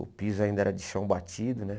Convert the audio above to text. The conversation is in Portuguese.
O piso ainda era de chão batido, né?